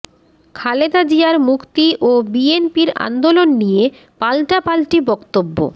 খালেদা জিয়ার মুক্তি ও বিএনপির আন্দোলন নিয়ে পাল্টাপাল্টি বক্তব্য